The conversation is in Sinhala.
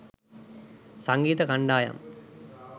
සංගීත කණ්ඩායම්